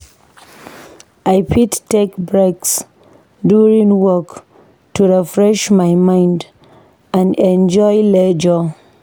I fit take breaks during work to refresh my mind and enjoy leisure.